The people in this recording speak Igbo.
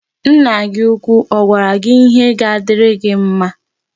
Nna gị úkwú ọ gwara gị ihe ga-adịrị gị mma?